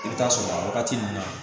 I bɛ taa sɔrɔ a wagati nun na